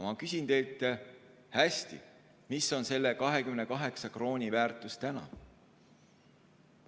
Ma küsin teilt, mis on selle 28 krooni väärtus täna.